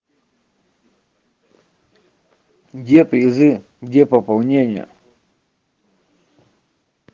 где призы где пополнение